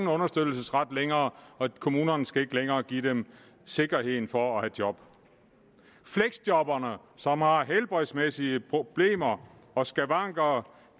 længere og kommunerne skal ikke længere give dem sikkerhed for at have et job fleksjobberne som har helbredsmæssige problemer og skavanker